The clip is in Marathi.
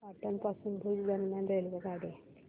पाटण पासून भुज दरम्यान रेल्वेगाडी